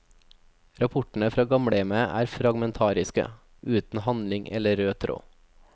Rapportene fra gamlehjemmet er fragmentariske, uten handling eller rød tråd.